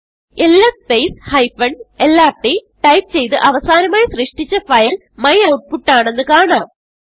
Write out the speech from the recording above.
LS space lrt type ചെയ്ത് അവസാനമായി സൃഷ്ടിച്ച ഫയൽ മ്യൂട്ട്പുട്ട് ആണെന്ന് കാണാം